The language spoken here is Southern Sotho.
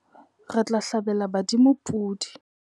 Re tla hlabela badimo podi.